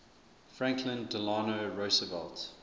franklin delano roosevelt